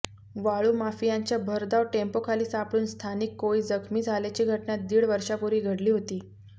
वाळूमाफियांच्या भरधाव टेम्पोखाली सापडून स्थानिक कोळी जखमी झाल्याची घटना दीड वर्षापूर्वी घडली होती